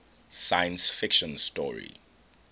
science fiction story